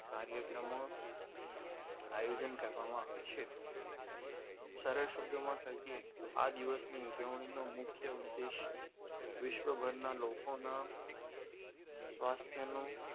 કાર્યક્રમો આયોજન કરવામાં આવે છે સારા શબ્દોમાં કહીએ તો આ દિવસની ઉજવણી નો મુખ્ય ઉદ્દેશ વિશ્વ પરના લોકોના સ્વાસ્થ્યનું